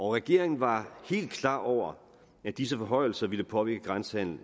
regeringen var helt klar over at disse forhøjelser ville påvirke grænsehandelen